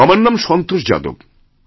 আমারনাম Santosh Yadav